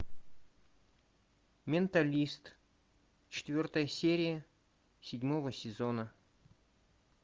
менталист четвертая серия седьмого сезона